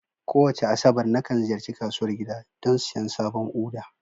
Kowace Asabar, nakan ziyarci kasuwar gida don siyan sabon Uda.